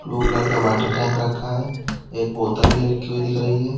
Blue colour का water tank रखा है एक बोतल भी रखी हुई दिख रही है।